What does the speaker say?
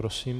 Prosím.